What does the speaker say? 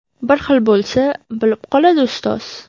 Bir xil bo‘lsa, bilib qoladi ustoz.